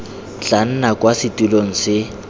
tla nna kwa setilong se